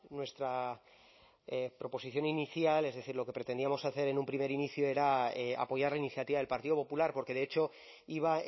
nuestra proposición inicial es decir lo que pretendíamos hacer en un primer inicio era apoyar la iniciativa del partido popular porque de hecho iba